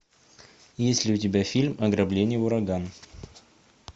есть ли у тебя фильм ограбление ураган